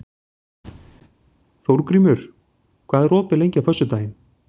Þórgrímur, hvað er opið lengi á föstudaginn?